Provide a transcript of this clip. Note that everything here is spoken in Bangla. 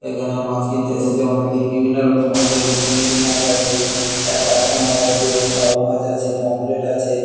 এখানে মাছ কিনতে এসেছে অনেকেই বিভিন্ন রকমের মাছ আছে চিংড়ি মাছ আছে পার্শে মাছ আছে বাউল মাছ আছে পম্পিফারেট আছে।